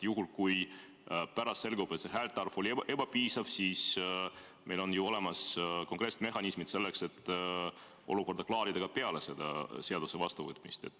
Juhul, kui pärast selgub, et häälte arv oli ebapiisav, siis meil on ju olemas konkreetsed mehhanismid selleks, et olukorda klaarida ka pärast selle seaduse vastuvõtmist.